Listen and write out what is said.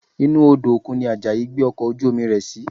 Inú Odò òkun ni Àjàyí gbé ọkọ̀ ojú-omi rẹ̀ sí